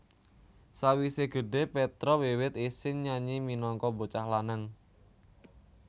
Sawisé gedhé Petra wiwit isin nyanyi minangka bocah lanang